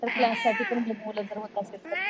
पण क्लाससाठी पण होत असेल तर.